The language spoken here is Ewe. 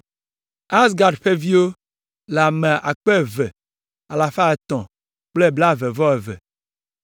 Azgad ƒe viwo le ame akpe eve alafa etɔ̃ kple blaeve-vɔ-eve (2,322).